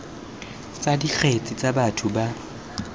tsa dikgetse tsa batho ba